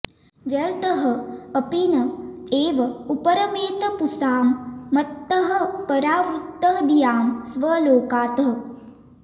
व्यर्थः अपि न एव उपरमेत पुंसां मत्तः परावृत्तधियां स्वलोकात्